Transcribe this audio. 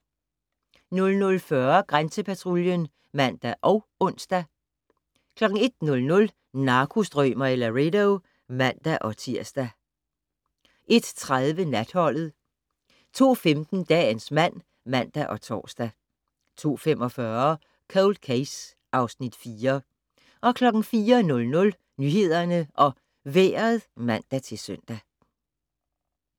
00:40: Grænsepatruljen (man og ons) 01:00: Narkostrømer i Laredo (man-tir) 01:30: Natholdet 02:15: Dagens mand (man og tor) 02:45: Cold Case (Afs. 4) 04:00: Nyhederne og Vejret (man-søn)